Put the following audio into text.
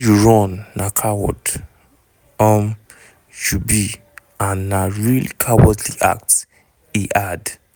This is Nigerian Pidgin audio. wen you run na coward um you be and na real "cowardly act" e add.